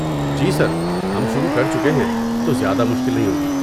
جی sir, ہم شروع کر چکے ہیں تو زیادہ مشکل نہیں ہو گی۔